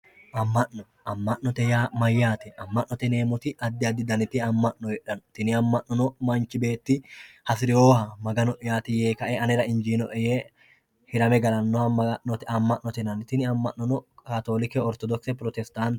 Ama'no, ama'note yaa mayyate ,ama'note yineemmoti addi addi ama'no heedhano tini ama'nono manchi beetti hasirinoha Magano'yati yee kae anera injinoe yee hirame galano tini ama'nono katholike, orthodokise, pirostate.